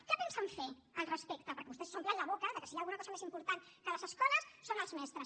què pensen fer al respecte perquè vostès s’omplen la boca que si hi ha alguna cosa més important que les escoles són els mestres